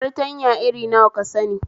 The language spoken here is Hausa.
Fartanya irin nawa ka sani?